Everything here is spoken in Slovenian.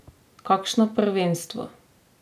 Kakšno prvenstvo!